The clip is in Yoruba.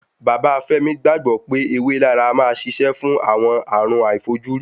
Bàbá Fẹ́mi gbàgbọ́ pé ewé laraa a máa ṣiṣẹ́ fún àwọn àrùn àìfojúrí